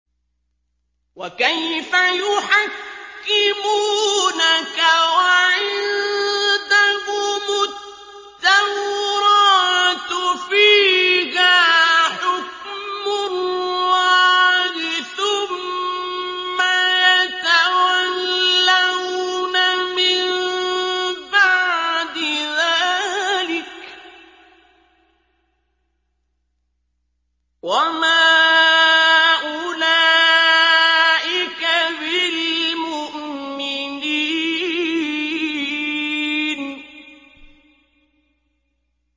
وَكَيْفَ يُحَكِّمُونَكَ وَعِندَهُمُ التَّوْرَاةُ فِيهَا حُكْمُ اللَّهِ ثُمَّ يَتَوَلَّوْنَ مِن بَعْدِ ذَٰلِكَ ۚ وَمَا أُولَٰئِكَ بِالْمُؤْمِنِينَ